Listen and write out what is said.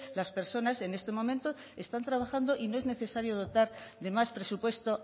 las personas en este momento están trabajando y no es necesario dotar de más presupuesto